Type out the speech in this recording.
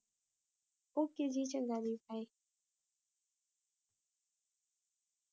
Okay ਜੀ, ਚੰਗਾ ਜੀ bye